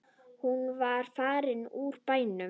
Hún var farin úr bænum.